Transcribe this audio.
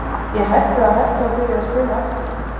Gæti ég hætt við að hætta og byrjað að spila aftur?